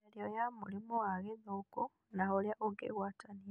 Mĩario ya mũrimũ wa gĩthũkũ na ũrĩa ũngĩgwatanio